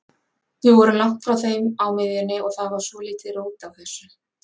Við vorum langt frá þeim á miðjunni og það var svolítið rót á þessu.